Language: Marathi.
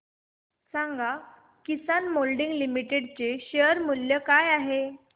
सांगा किसान मोल्डिंग लिमिटेड चे शेअर मूल्य काय आहे